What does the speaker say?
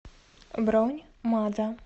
бронь мадо